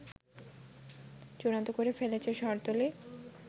চূড়ান্ত করে ফেলেছে শহরতলী